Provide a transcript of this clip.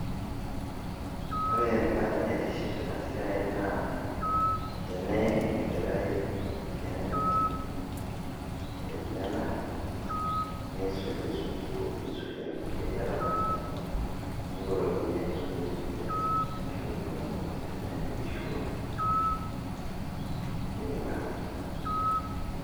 Ore embate naitiship tena siai naa teneeim enkerai mtihani enyenak, nisulie sukuul nisulie kulie kerra pookin nipotokini ai sukuul sidai arashu orkasi teneeku eishua University.